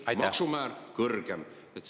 Siis on tõesti kõigil kõrgem maksumäär.